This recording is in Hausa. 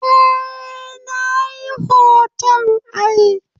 Eh, Nayi hoton ai